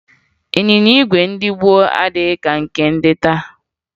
Ịnyịnya ígwè ndị nke gboo adịghị ka ndị nke taa